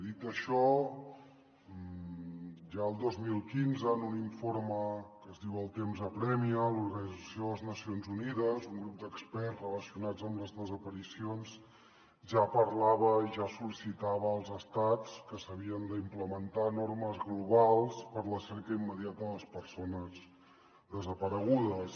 dit això ja el dos mil quinze en un informe que es diu el temps apressa de l’organització de les nacions unides un grup d’experts relacionats amb les desaparicions ja parlava i ja sol·licitava als estats que s’havien d’implementar normes globals per a la cerca immediata de les persones desaparegudes